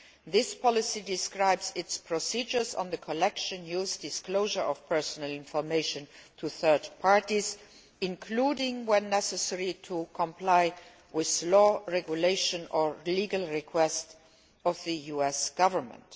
This policy describes its procedures on the collection, use and disclosure of personal information to third parties, including when it is necessary in order to comply with laws, regulations or legal requests from the US Government.